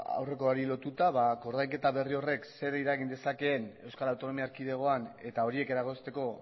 aurrekoari lotuta koordainketa berri horrek zer eragin dezakeen euskal autonomia erkidegoan eta horiek eragozteko